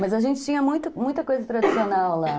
Mas a gente tinha muita, muita coisa tradicional lá.